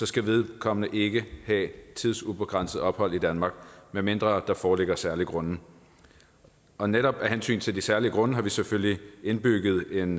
skal vedkommende ikke have tidsubegrænset ophold i danmark medmindre der foreligger særlige grunde og netop af hensyn til de særlige grunde har vi selvfølgelig indbygget en